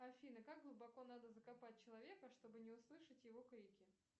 афина как глубоко надо закопать человека чтобы не услышать его крики